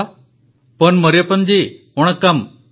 ପନ୍ ମରିୟପ୍ପନ୍ ମାନନୀୟ ପ୍ରଧାନମନ୍ତ୍ରୀ ମହୋଦୟ ୱଣକ୍କମ୍ ନମସ୍କାର